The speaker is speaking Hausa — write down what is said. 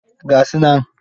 Ga su nan?